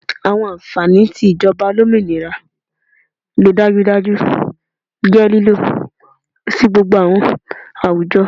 Awọn anfani ti ijọba olominira le dajudaju jẹ lilo si gbogbo awọn awujọ